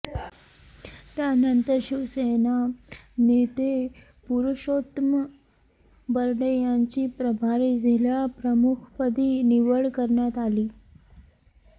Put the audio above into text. त्यानंतर शिवसेना नेते पुरुषोत्तम बरडे यांची प्रभारी जिल्हाप्रमुखपदी निवड करण्यात आली